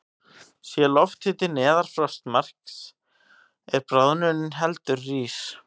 Sé lofthiti neðan frostmarks er bráðnunin heldur rýr.